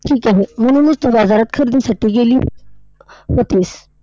ठीक आहे. म्हणूनच तू बाजारात खरेदीसाठी गेली होतीस.